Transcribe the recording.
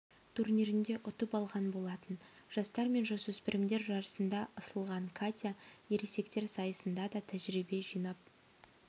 турнирінде ұтып алған болатын жастар мен жасөспірімдер жарысында ысылған катя ересектер сайысында да тәжірибе жинап